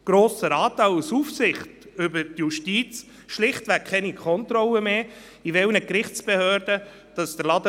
Ich erteile morgen früh zuerst der Regierungsrätin das Wort, weil wir nachher die Beratung des Gesetzes noch nicht abschliessen können.